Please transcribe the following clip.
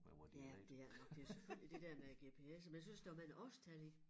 Ja det er nok det selvfølgelig det der med æ gps'er men jeg synes der mange årstal i